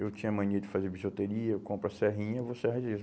Eu tinha mania de fazer bijuteria, eu compro a serrinha, vou serrar gesso.